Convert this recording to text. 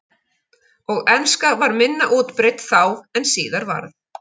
Og enska var minna útbreidd þá en síðar varð.